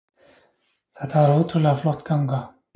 Þetta var ótrúlega flott ganga